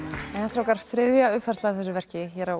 strákar þriðja uppfærslan á þessu verki hér á